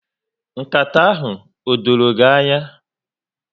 Nkata ahụ o dọrọ gị ányá.